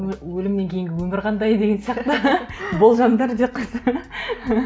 өлімнен кейінгі өмір қандай деген сияқты болжамдар деп қойса